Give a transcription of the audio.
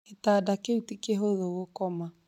Gĩtanda kĩu ti kĩhũthũ gũkoma